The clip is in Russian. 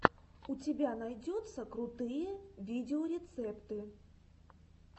у тебя найдется крутые видеорецепты